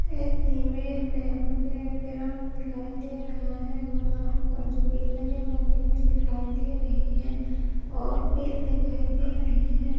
इस इमेज में मुझे ग्राउंड दिखाई दे रहा है और आजू-बाजू में लगे बनी हुई दिखाई दे रही है और पेड़ दिखाई दे रहे हैं।